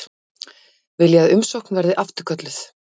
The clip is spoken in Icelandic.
Vilja að umsókn verði afturkölluð